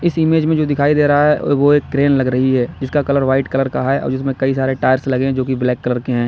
इस इमेज में जो दिखाई दे रहा है वो एक क्रेन लग रही है जिसका कलर वाइट कलर का है और जिसमें कई सारे टायर्स लगे हैं जो कि ब्लैक कलर के हैं।